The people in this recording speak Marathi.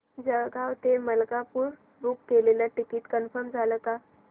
जळगाव ते मलकापुर बुक केलेलं टिकिट कन्फर्म झालं का